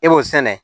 E b'o sɛnɛ